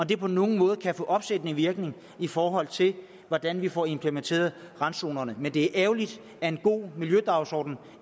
det på nogen måde kan få opsættende virkning i forhold til hvordan vi får implementeret randzonerne men det er ærgerligt at en god miljødagsorden